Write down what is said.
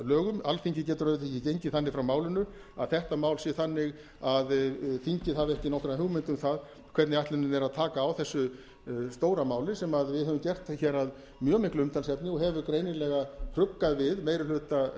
lögum alþingi getur auðvitað ekki gengið þannig frá málinu að þetta mál sé þannig að þingið hafi ekki nokkra hugmynd um það hvernig ætlunin er að taka á þessu stóra máli sem við höfum gert hér að mjög miklu umtalsefni og hefur greinilega hugsað við meiri hluta